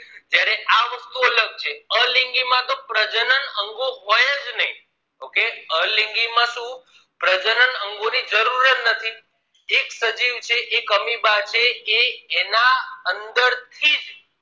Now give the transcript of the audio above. અલિંગી માં તો પ્રજનન અંગો હોય જ નહિ okay અલિંગી માં શું પ્રજનન અંગો ની જરૂર જ નથી એક સજીવ છે amoeba છે એ એના અંદર થી જ